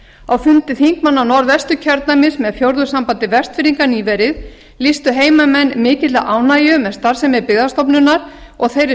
á fundi þingmanna norðvesturkjördæmis með fjórðungssambandi vestfirðinga nýverið lýstu heimamenn mikilli ánægju með starfsemi byggðastofnunar og þeirri